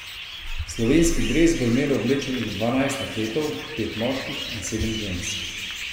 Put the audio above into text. Slovenski dres bo imelo oblečenih dvanajst atletov, pet moških in sedem žensk.